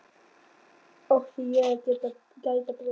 Átti ég að gæta bróður míns?